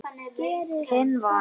Hann vann.